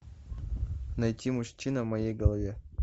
найти мужчина в моей голове